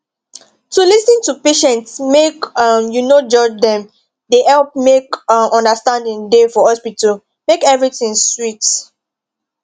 to lis ten to patients make um u no judge dem dey help make um understanding da for hospital make everything sweet